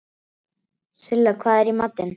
Silla, hvað er í matinn?